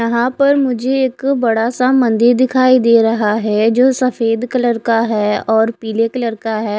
यहा पर मुझे एक बड़ा सा मंदिर दिखाई दे रहा है जो सफ़ेद कलर का है और पीले कलर का है।